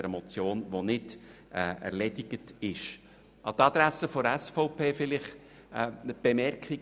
An die Adresse der SVP erlaube ich mir folgende Bemerkung: